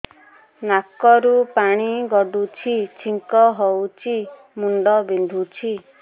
ନାକରୁ ପାଣି ଗଡୁଛି ଛିଙ୍କ ହଉଚି ମୁଣ୍ଡ ବିନ୍ଧୁଛି